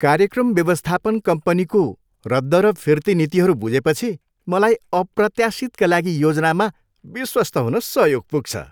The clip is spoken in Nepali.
कार्यक्रम व्यवस्थापन कम्पनीको रद्द र फिर्ती नीतिहरू बुझेपछि मलाई अप्रत्याशितका लागि योजनामा विश्वस्त हुन सहयोग पुग्छ।